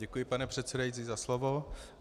Děkuji, pane předsedající, za slovo.